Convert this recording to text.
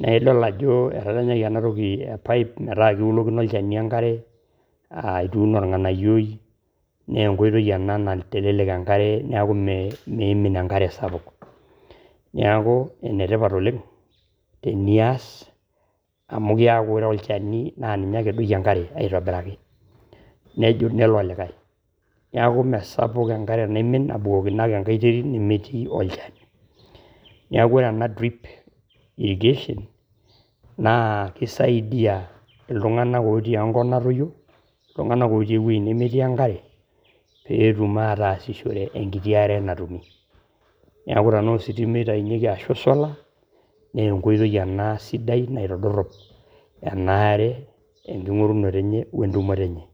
Nidol ajo etadanyaki ena toki e pipe metaa kiulokino olchani enkare aa ituuno olng`anayioi naa enkoitoi ena naitelelek enkare niaku meimin enkare sapuk. Niaku enetipat oleng tenias amu keaku ore olchani naa ninye ake edoiki enkare aitobiraki nelo olikai. Niaku mme sapuk enkare naimin abukokino ake enkae terit nemetii olchani. Niaku ore ena drip irrigation naa kisaidia iltung`anak otii enkop natoyio , iltung`anak otii ewueji nemetii enkare pee etum ataasishore enkiti are natumi. Niaku tenaa ositima eitayunyieki ashu e solar naa enkoitoi ena sidai naitodorrop ena are enking`orunoto enye o entumoto enye.